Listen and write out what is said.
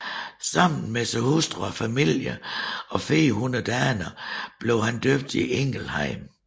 Sammen med sin hustru og familie og 400 daner blev han døbt i Ingelheim